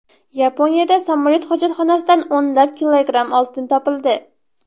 Yaponiyada samolyot hojatxonasidan o‘nlab kilogramm oltin topildi.